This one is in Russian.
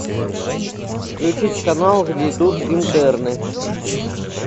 включить канал где идут интерны